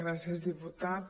gràcies diputat